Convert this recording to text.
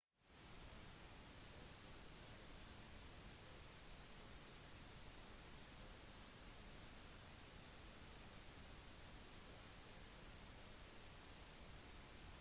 en fottur er en utendørsaktivitet som innebærer vandring i naturlige omgivelser ofte på turstier